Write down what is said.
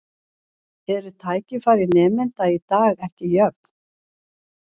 Eru tækifæri nemenda í dag ekki jöfn?